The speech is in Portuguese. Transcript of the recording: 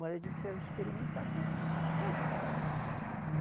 Mas eu digo que se eu experimentasse, eu fazia.